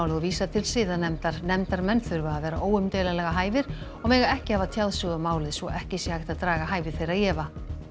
og vísa til siðanefndar nefndarmenn þurfa að vera óumdeilanlega hæfir og mega ekki hafa tjáð sig um málið svo ekki sé hægt að draga hæfi þeirra í efa